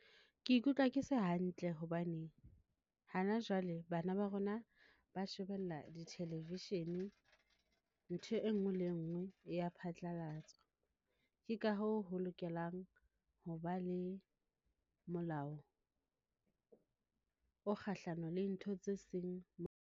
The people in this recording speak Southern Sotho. Ke ikutlwa ke se hantle hobane hana jwale bana ba rona ba shebella di Television. Ntho enngwe le enngwe e ya phatlalatswa. Ke ka hoo ho lokelang ho ba le molao o kgahlano le ntho tse seng.